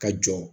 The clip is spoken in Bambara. Ka jɔ